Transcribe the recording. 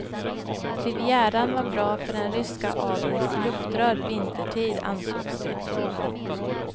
Rivieran var bra för den ryska adelns luftrör vintertid, ansågs det.